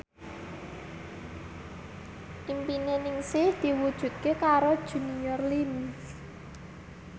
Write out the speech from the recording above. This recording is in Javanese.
impine Ningsih diwujudke karo Junior Liem